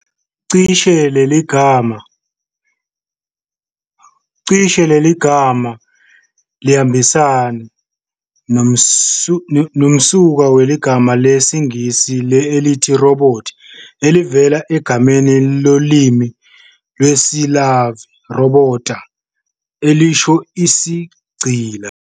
Cishe liyambisana nomsuka wegama lesiNgisi elithi "robot" elivela egameni lolimi lwesi-Slavi "robota", elisho isigqila.